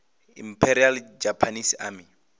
imperial japanese army